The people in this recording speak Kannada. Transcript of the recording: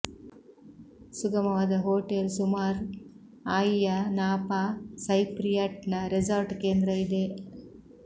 ಸುಗಮವಾದ ಹೋಟೆಲ್ ಸುಮಾರು ಆಯಿಯ ನಾಪಾ ಸೈಪ್ರಿಯಟ್ನ ರೆಸಾರ್ಟ್ ಕೇಂದ್ರ ಇದೆ